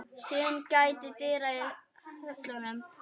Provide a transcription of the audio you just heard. Syn gætir dyra í höllum